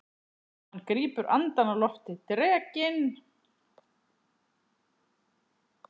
Hann grípur andann á lofti. drekinn!